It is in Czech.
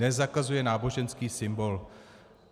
Nezakazuje náboženský symbol.